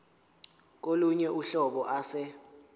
kolunye uhlobo ase